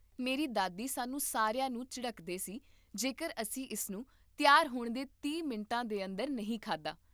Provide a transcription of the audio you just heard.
ਮੇਰੀ ਦਾਦੀ ਸਾਨੂੰ ਸਾਰਿਆਂ ਨੂੰ ਝਿੜਕਦੇ ਸੀ ਜੇਕਰ ਅਸੀਂ ਇਸ ਨੂੰ ਤਿਆਰ ਹੋਣ ਦੇ ਤੀਹ ਮਿੰਟਾਂ ਦੇ ਅੰਦਰ ਨਹੀਂ ਖਾਧਾ